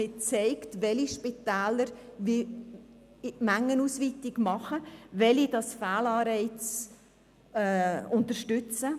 Man zeigt, welche Spitäler Mengenausweitung machen, welche Fehlanreize unterstützen.